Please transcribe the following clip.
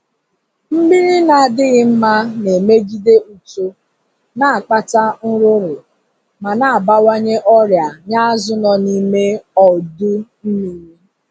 Mmiri na-adịghị mma na-emegide uto, na-akpata nrụrụ, ma na-abawanye ọrịa nye azu nọ n'ime ọdu mmiri